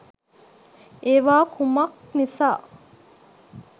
ඒවා කුමක් නිසා